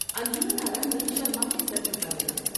انجمن آرا نے شرما کے سر جھکا لیا ۔